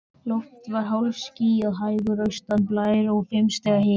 Loft var hálfskýjað, hægur austanblær og fimm stiga hiti.